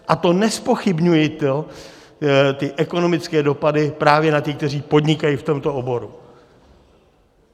A to nezpochybňuji ty ekonomické dopady právě na ty, kteří podnikají v tomto oboru.